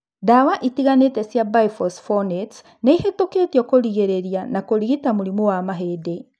Ndawa itiganĩte cia biphosphonates nĩihĩtũkĩtio kũrigĩrĩria na kũrigita mũrimũ wa mahĩndĩ